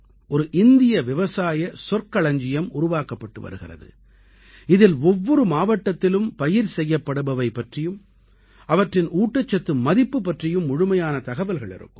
ஒரு இந்திய விவசாய சொற்களஞ்சியம் உருவாக்கப்பட்டு வருகிறது இதில் ஒவ்வொரு மாவட்டத்திலும் பயிர் செய்யப்படுபவை பற்றியும் அவற்றின் ஊட்டச்சத்து மதிப்பு பற்றியும் முழுமையான தகவல்கள் இருக்கும்